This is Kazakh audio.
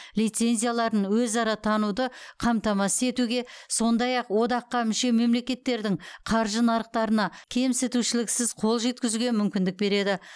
лицензияларын өзара тануды қамтамасыз етуге сондай ақ одаққа мүше мемлекеттердің қаржы нарықтарына кемсітушіліксіз қол жеткізуге мүмкіндік береді